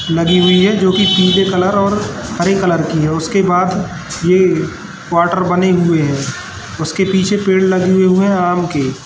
लगी हुई है जो की पीले कलर और हरे कलर की है उसके बाद ये क्वार्टर बने हुए हैं उसके पीछे पेड़ लगे हुए हैं आम के।